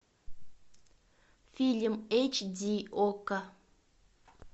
фильм эйч ди окко